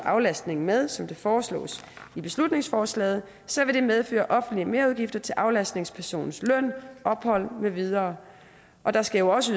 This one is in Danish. aflastning med som det foreslås i beslutningsforslaget så vil det medføre offentlige merudgifter til aflastningspersonens løn ophold med videre og der skal jo også